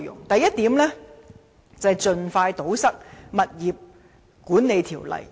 第一，盡快堵塞《建築物管理條例》的漏洞。